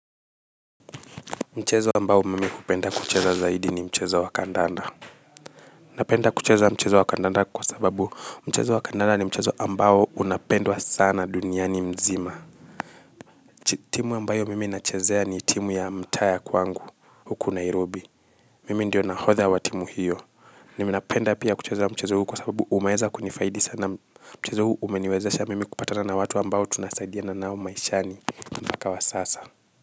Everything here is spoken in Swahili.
Mchezo ambao mimi hupenda kucheza zaidi ni mchezo wa kandanda. Napenda kucheza mchezo wa kandanda kwa sababu, mchezo wa kandanda ni mchezo ambao unapendwa sana duniani mzima. Timu ambayo mimi nachezea ni timu ya mtaaa ya kwangu, huku Nairobi, mimi ndio nahodha wa timu hiyo. Ninapenda pia kucheza mchezo huu kwa sababu umeeza kunifaidi sana mchezo huu umeniwezesha mimi kupatana na watu ambao tunasaidiana nao maishani mpaka wa sasa.